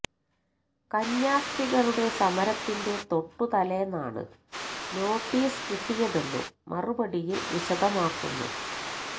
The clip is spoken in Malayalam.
കന്യാസ്ത്രികളുടെ സമരത്തിന്റെ തൊട്ടു തലേന്നാണ് നോട്ടീസ് കിട്ടിയതെന്നും മറുപടിയിൽ വിശദമാക്കുന്നു